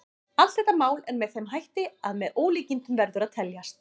Allt þetta mál er með þeim hætti að með ólíkindum verður að teljast.